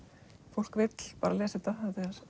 fólk vill bara lesa þetta